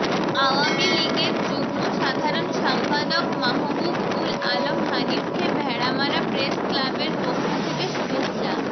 আওয়ামী লীগের যুগ্ম সাধারণ সম্পাদক মাহবুবউল আলম হানিফকে ভেড়ামারা প্রেসক্লাবের পক্ষ থেকে শুভেচ্ছা